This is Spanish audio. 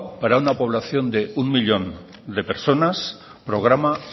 para una población de un millón de personas programa